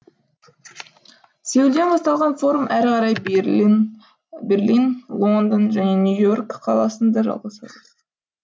сеулден басталған форум әрі қарай берлин лондон және нью и орк қаласында жалғасады